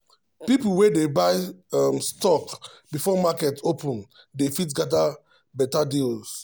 people wey dey buy um stock before market open dey fit get better deals.